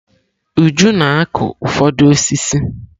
Uju na-akụ ụfọdụ osisi.